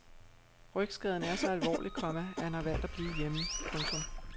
Rygskaden er så alvorlig, komma at han har valgt at blive hjemme. punktum